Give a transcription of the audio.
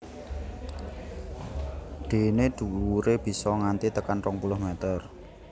Dené dhuwuré bisa nganti tekan rong puluh mèter